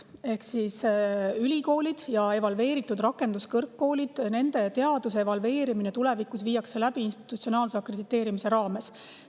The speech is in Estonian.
Ehk siis ülikoolide ja evalveeritud rakenduskõrgkoolide teaduse evalveerimine viiakse tulevikus läbi institutsionaalse akrediteerimise raames.